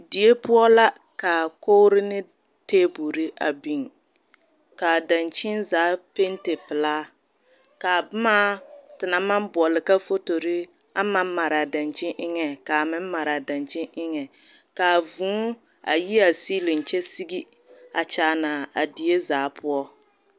Die poɔ la kaa kogiri ne table a biŋ kaa dankyeni zaa pente pelaa kaa boma te naŋ naŋ boɔle ka fotori aŋ maŋ mare a dankyeni eŋa kaa meŋ made a dankyeni era kaa vûû a yi a seeleŋ kyɛ Wa zige kyaane a die zaa poɔ